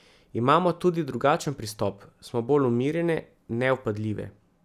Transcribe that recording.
Imamo tudi drugačen pristop, smo bolj umirjene, nevpadljive.